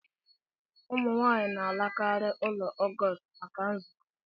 Ụmụ nwanyị na alakari ụlọ Augustl maka nzukọ.